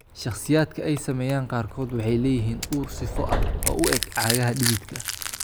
Shakhsiyaadka ay saameeyeen qaarkood waxay leeyihiin ur sifo ah oo u eg cagaha dhididka ah.